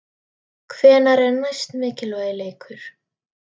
Hvenær er næsti mikilvægi leikur?